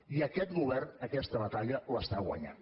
i aquest govern aquesta batalla l’està guanyant